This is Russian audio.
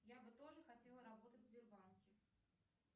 я бы тоже хотела работать в сбербанке